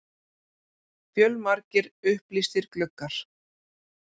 Fjölmargir upplýstir gluggar.